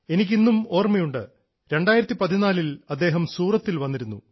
എനിക്ക് ഇന്നും ഓർമ്മയുണ്ട് 2014 ൽ അദ്ദേഹം സൂറത്തിൽ വന്നിരുന്നു